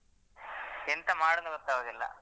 ಎಂತ ಮಾಡುದಂತ ಗೊತ್ತಾಗುದಿಲ್ಲ.